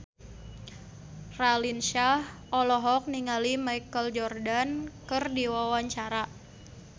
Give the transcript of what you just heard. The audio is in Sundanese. Raline Shah olohok ningali Michael Jordan keur diwawancara